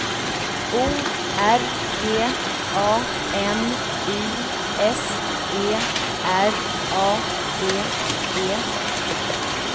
O R G A N I S E R A D E